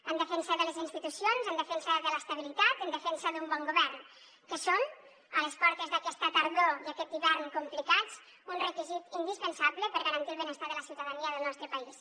en defensa de les institucions en defensa de l’estabilitat en defensa d’un bon govern que són a les portes d’aquesta tardor i aquest hivern complicats un requisit indispensable per garantir el benestar de la ciutadania del nostre país